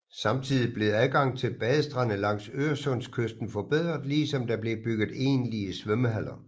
Samtidig blev adgang til badestande langs Øresundskysten forbedret ligesom der blev bygget egentlige svømmehaller